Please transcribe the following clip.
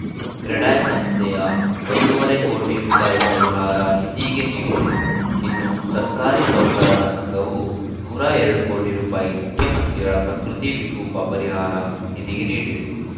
ಕ್ರೆಡಾಯ್‌ ಸಂಸ್ಥೆಯು ಒಂದು ಮೂವತ್ತು ಕೋಟಿ ರೂಪಾಯಿ ಪರಿಹಾರ ನಿಧಿಗೆ ನೀಡಿದೆ ಇನ್ನು ಸರ್ಕಾರಿ ನೌಕರರ ಸಂಘವು ನೂರ ಎರಡು ಕೋಟಿ ರೂಪಾಯಿ ಮುಖ್ಯಮಂತ್ರಿಗಳ ಪ್ರಕೃತಿ ವಿಕೋಪ ಪರಿಹಾರ ನಿಧಿಗೆ ನೀಡಿದೆ